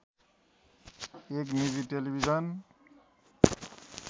एक निजी टेलिभिजन